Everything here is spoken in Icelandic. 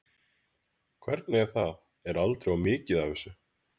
Hvernig er það, er aldrei of mikið af þessu?